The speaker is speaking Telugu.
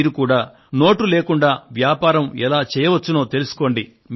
మీరు కూడా నోటు లేకుండా వ్యాపారం ఎలా చేయవచ్చునో తెలుసుకోండి